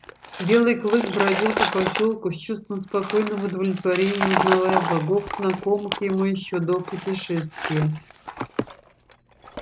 белый клык бродил по посёлку с чувством спокойного удовлетворения узнавая богов знакомых ему ещё до путешествия